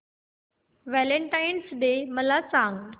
Valentine's day मला सांग